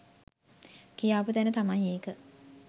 කියාපු තැන තමයි ඒක